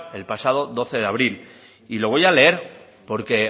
el pasado doce de abril y lo voy a leer porque